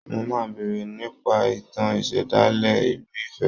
Mo máa béèrè nípa ìtàn ìṣẹ̀dálẹ̀ ìlú Ifẹ̀